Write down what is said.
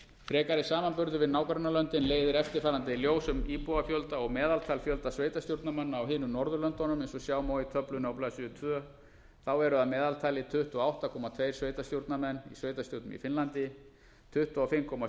frekari samanburður við nágrannalöndin leiðir eftirfarandi í ljós um íbúafjölda og meðaltal fjölda sveitarstjórnarmanna á hinum norðurlöndunum eins og sjá má í töflunni á blaðsíðu annars þá eru að meðaltali tuttugu og átta komma tvö sveitarstjórnarmenn í sveitarstjórnum í finnlandi tuttugu og fimm komma